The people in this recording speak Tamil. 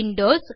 விண்டோஸ்